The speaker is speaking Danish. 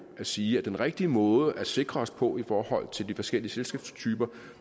at sige at den rigtige måde at sikre os på i forhold til de forskellige selskabstyper